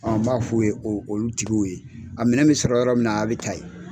n b'a fɔ ye o olu tigiw ye a minɛn mi sɔrɔ yɔrɔ min na a bɛ taa ye.